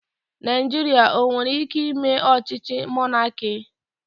Naijiria o nwere ike ime ochíchí mọnaki?